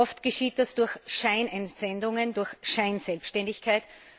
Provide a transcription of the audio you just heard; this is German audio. Oft geschieht es durch Scheinentsendungen, durch Scheinselbständigkeit.